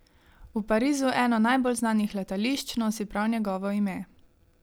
V Parizu eno najbolj znanih letališč nosi prav njegovo ime.